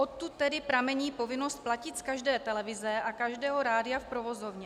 Odtud tedy pramení povinnost platit z každé televize a každého rádia v provozovně.